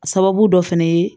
A sababu dɔ fɛnɛ ye